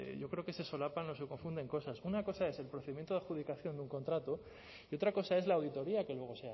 yo creo que se solapan o se confunden cosas una cosa es el procedimiento de adjudicación de un contrato y otra cosa es la auditoría que luego